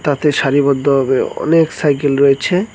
তাতে সারিবদ্ধভাবে অনেক সাইকেল রয়েছে।